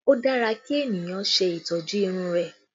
O dára kí ènìyàn ṣe ìtọ́jú irun rẹ